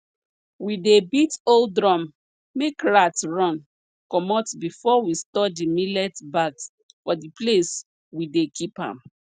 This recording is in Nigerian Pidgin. we dey beat old drum make rats run comot before we store di millet bags for di place we dey keep am